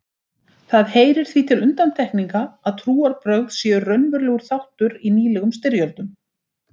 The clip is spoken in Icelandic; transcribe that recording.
Það heyrir því til undantekninga að trúarbrögð séu raunverulegur þáttur í nýlegum styrjöldum.